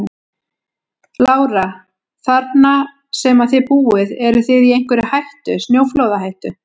Lára: Þarna sem að þið búið eruð þið í einhverri hættu, snjóflóðahættu?